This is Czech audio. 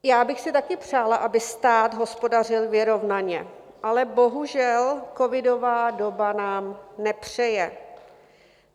Já bych si také přála, aby stát hospodařil vyrovnaně, ale bohužel, covidová doba nám nepřeje.